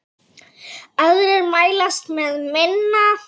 Aðrir mælast með minna.